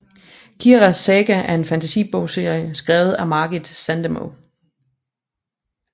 Kiaras saga er en fantasi bogserie skrevet af Margit Sandemo